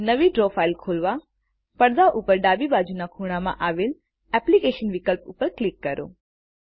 નવી draw file ખોલવા પડદામાં ઉપર ડાબી બાજુના ખૂણામાં આવેલા એપ્લિકેશન્સ વિકલ્પ ઉપર ક્લિક કરીએ